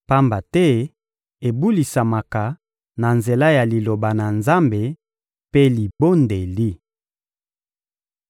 pamba te ebulisamaka na nzela ya Liloba na Nzambe mpe libondeli.